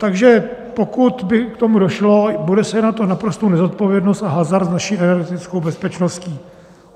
Takže pokud by k tomu došlo, bude se jednat o naprostou nezodpovědnost a hazard s naší energetickou bezpečností.